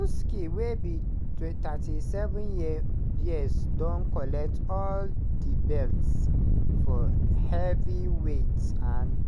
usyk wey be 37 year years don collect all di belts for heavyweight and